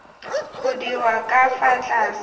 go dirwa ka fa tlase